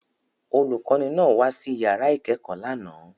Olùkọ́ní náà wá sí ìyàrá ìkẹ́kọ̀ọ́ lánàá.